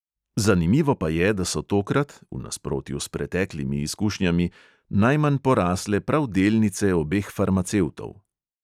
Zanimivo pa je, da so tokrat (v nasprotju s preteklimi izkušnjami) najmanj porasle prav delnice obeh farmacevtov.